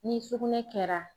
Ni sugunɛ kɛra